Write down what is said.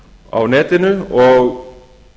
á netinu og